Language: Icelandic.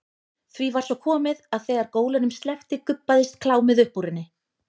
Því var svo komið að þegar gólunum sleppti gubbaðist klámið upp úr henni.